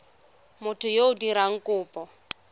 motho yo o dirang kopo